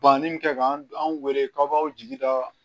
Bannin kɛ k'an wele k'aw b'aw jigi da